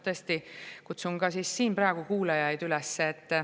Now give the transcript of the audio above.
Tõesti kutsun ka siin praegu kuulajaid üles.